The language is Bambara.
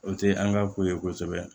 O tɛ an ka ko ye kosɛbɛ